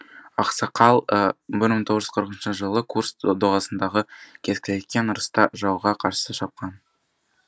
ақсақал бір мың тоғыз жүз қырық үшінші жылы курск доғасындағы кескілескен ұрыста жауға қарсы шапқан